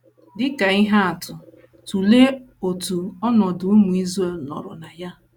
Dị ka ihe atụ, tụlee otu ọnọdụ ụmụ Israel nọrọ na ya.